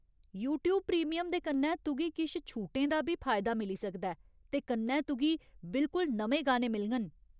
YouTube premium दे कन्नै, तुगी किश छूटें दा बी फायदा मिली सकदा ऐ, ते कन्नै तुगी बिल्कुल नमें गाने मिलङन।